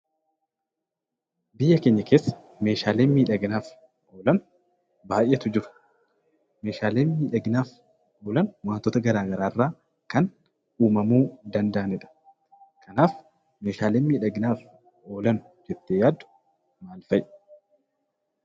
Biyya keenya keessa meeshaaleen miidhaginaaf oolan baay'eetu jiru. Meeshaaleen miidhaginaaf oolan wantoota garaa garaa irraa kan uumamuu danda'anidha. Kanaaf meeshaaleen miidhaginaaf oolan jettee yaaddu maal fa'i?